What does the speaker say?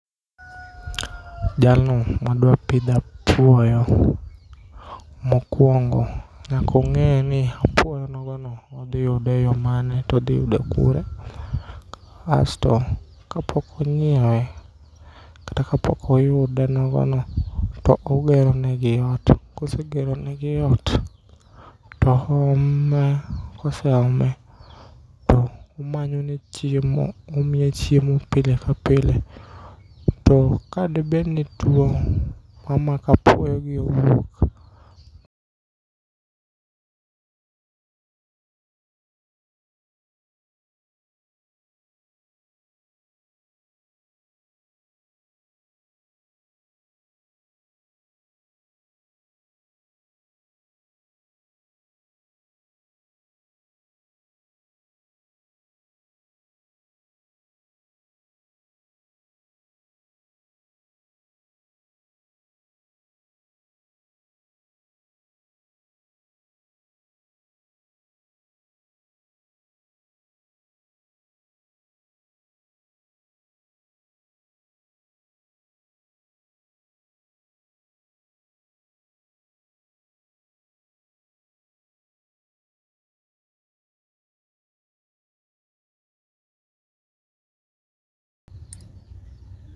Jalno madwapidho apuoyo mokuongo nyakong'eni apuoyonogono odhiyudeyo e yoo mane todhiyude kure asto kapokinyiewe kata kapokoyude nogono to ogeronegi ot, kosegeronegi ot oome, koseome to omanyone chiemo, omiye chiemo pile ka pile tokadobedni tuo omako apuoyogi